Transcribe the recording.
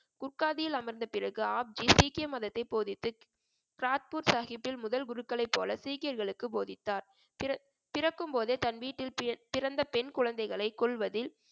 குட்காதியில் அமர்ந்த பிறகு ஆப்ஜி சீக்கிய மதத்தை போதித்து கிராத்பூர் சாஹிப்பில் முதல் குருக்களை போல சீக்கியர்களுக்கு போதித்தார் பிற~ பிறக்கும் போதே தன் வீட்டில் பி~ பிறந்த பெண் குழந்தைகளை கொல்வதில்